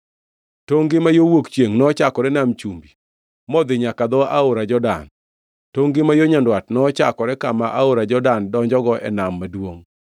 Tongʼ-gi ma yo wuok chiengʼ nochakore Nam Chumbi modhi nyaka dho aora Jordan. Tongʼ-gi ma yo nyandwat nochakore kama aora Jordan donjogo e nam maduongʼ,